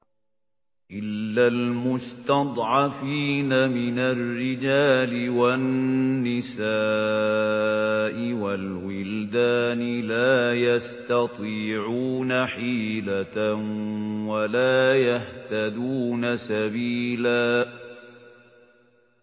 إِلَّا الْمُسْتَضْعَفِينَ مِنَ الرِّجَالِ وَالنِّسَاءِ وَالْوِلْدَانِ لَا يَسْتَطِيعُونَ حِيلَةً وَلَا يَهْتَدُونَ سَبِيلًا